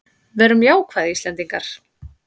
Verum jákvæð Íslendingar!